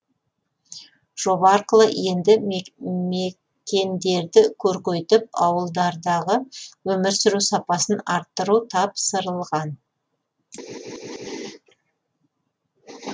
жоба арқылы елді мекендерді көркейтіп ауылдардағы өмір сүру сапасын арттыру тапсырылған